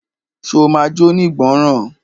Ṣe o ma jónígbọràn?